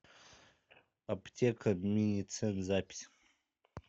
аптека миницен запись